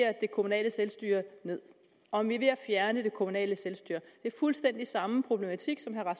kommunale selvstyre ned om vi er ved at fjerne det kommunale selvstyre det er fuldstændig den samme problematik som herre